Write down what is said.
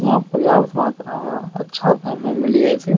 यहां पर्याप्त मात्रा म अच्छा दाम मे मिली जाय छे।